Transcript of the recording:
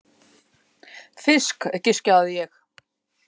Fisk, giskaði ég.